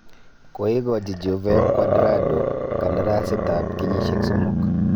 Koigochi Juve Cuadrado kandarasiit ab kenyisiek somok.